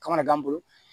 Ka mana gan n bolo